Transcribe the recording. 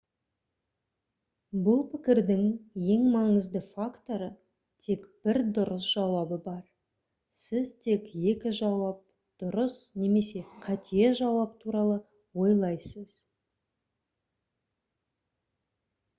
бұл пікірдің ең маңызды факторы тек бір дұрыс жауабы бар сіз тек екі жауап дұрыс немесе қате жауап туралы ойлайсыз